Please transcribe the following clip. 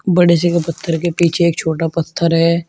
बड़े से के पत्थर के पीछे एक छोटा पत्थर है।